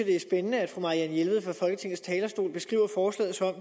det er spændende at fru marianne jelved fra folketingets talerstol beskriver forslaget som